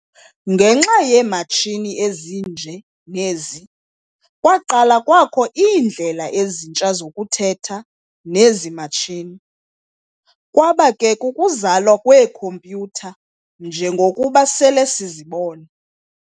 Ngenxa yeematshini ezinje nezi, kwaqala kwakho iindlela ezintsha zokuthetha nezi matshini, kwaba ke kukuzalwa kweekhompyutha njengokuba sele sizibona.